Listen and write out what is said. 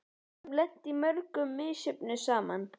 Við höfum lent í mörgu misjöfnu saman.